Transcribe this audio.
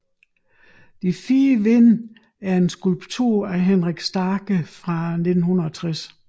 De fire Vinde er en skulptur af Henrik Starcke fra 1960